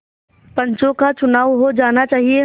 पंचों का चुनाव हो जाना चाहिए